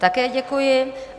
Také děkuji.